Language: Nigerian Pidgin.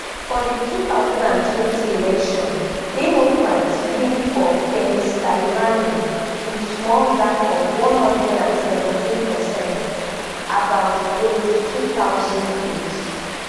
for di two thousand and twenty election democrats win for pennsylvania wit small gap of one hundred and seventeen percent about eighty-two thousand votes